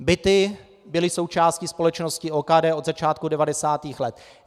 Byty byly součástí společnosti OKD od začátku 90. let.